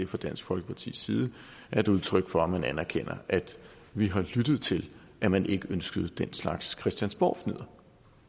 fra dansk folkepartis side er et udtryk for at man anerkender at vi har lyttet til at man ikke ønskede den slags christiansborgfnidder